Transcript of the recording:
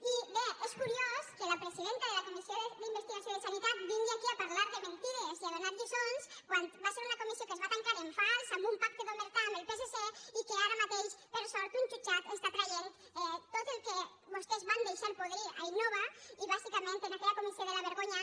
i bé és curiós que la presidenta de la comissió d’investigació de sanitat vingui aquí a parlar de mentides i a donar lliçons quan va ser una comissió que es va tancar en fals amb un pacte d’omertà amb el psc i ara mateix per sort un jutjat treu tot el que vostès van deixar podrir a innova i bàsicament en aquella comissió de la vergonya